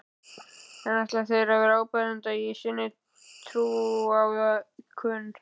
En ætla þeir að vera áberandi í sinni trúariðkun?